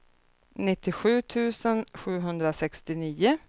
nittiosju tusen sjuhundrasextionio